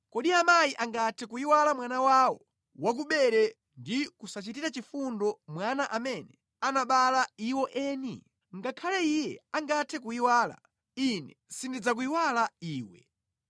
“Kodi amayi angathe kuyiwala mwana wawo wakubere ndi kusachitira chifundo mwana amene anabereka iwo eni? Ngakhale iye angathe kuyiwala, Ine sindidzakuyiwala iwe!